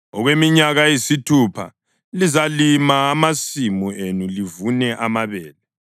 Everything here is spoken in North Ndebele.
“Okweminyaka eyisithupha lizalima amasimu enu livune amabele,